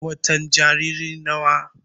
watan Jariri nawa?